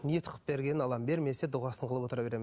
ниет қылып бергенін аламын бермесе дұғасын қылып отыра беремін